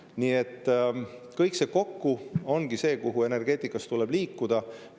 Nii et kõik see kokku ongi see, kuhu energeetikas tuleb liikuda.